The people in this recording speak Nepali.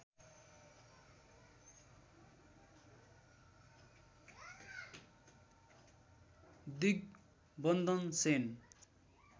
दिग्बन्धन सेन